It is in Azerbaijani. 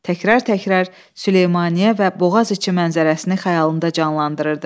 Təkrar-təkrar Süleymaniyyə və Boğaz içi mənzərəsini xəyalında canlandırırdı.